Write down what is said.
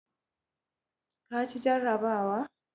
ka ci jarrabawa?